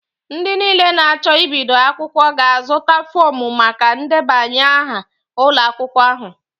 Ndị niile na-acho Ibido akwukwo ga-azụta fọọmu maka ndebanye aha ụlọ akwụkwọ ahu